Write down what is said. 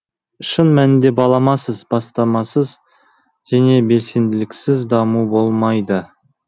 шын мәнінде баламасыз бастамасыз және белсенділіксіз даму болмайды